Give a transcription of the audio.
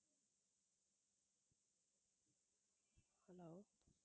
hello